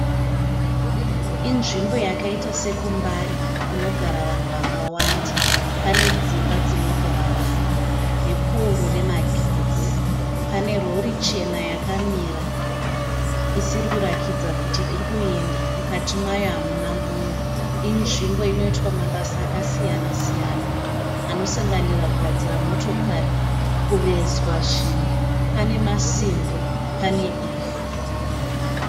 Inzvimbo yakaita sekuMbare kunogara vanhu vakawanda. Pane dzimba dzinogara vanhu nepowuro remagetsi. Pane rori chena yakamira isiri kurakidza kuti iri kuenda. Mukati mayo hamuna munhu, Inzvimbo inoitwa mabasa akasiyana anosanganira kugadzira motokari, kuvezwa zvinhu. Pane masimbi, pane ivhu.